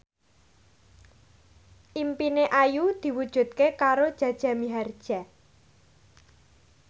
impine Ayu diwujudke karo Jaja Mihardja